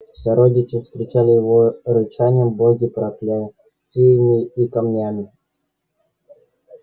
сородичи встречали его рычанием боги проклятиями и камнями